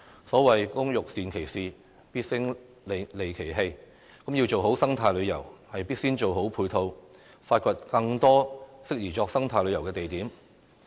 所謂"工欲善其事，必先利其器"，要做好生態旅遊，必先做好配套，發掘更多適宜作生態旅遊的地點。